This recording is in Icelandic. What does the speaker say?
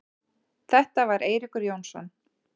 Þetta var Eiríkur Jónsson.